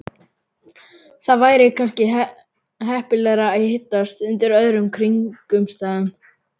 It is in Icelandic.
Það væri kannski heppilegra að hittast undir öðrum kringumstæðum